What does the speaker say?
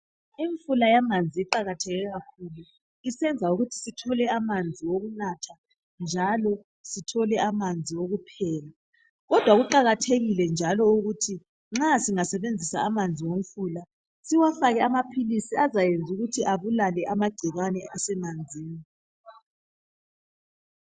Imfula yamanzi iqakatheke kakhulu isenza ukuthi sithole amanzi wokunatha njalo sithole amanzi okupheka kodwa kuqakathekile njalo ukuthi nxa singasebenzisa amanzi omfula siwafake amaphilisi azayenza ukuthi abulale amagcikwane asemanzini.